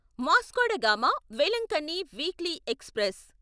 Vasco da Gama Velankanni weekly express